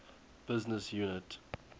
business unit